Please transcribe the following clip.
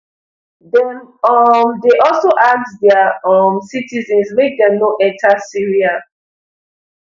dem um dey also ask dia um citizens make dem no enta syria